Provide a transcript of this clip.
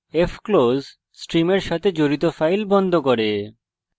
fclose stream সাথে জড়িত file বন্ধ করে